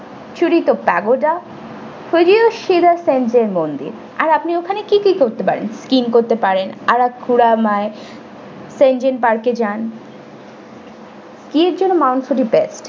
surito pragoda fuji এর সেরা senjen মন্দির আর আপনি ওখানে কি কি করতে পারেন skiing করতে পারেন alabama এই shenjin park এ যান skiing এর জন্য mount fuji best ।